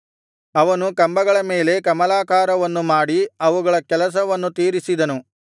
ಅವನು ಕಂಬಗಳ ಮೇಲೆ ಕಮಲಾಕಾರವನ್ನು ಮಾಡಿ ಅವುಗಳ ಕೆಲಸವನ್ನು ತೀರಿಸಿದನು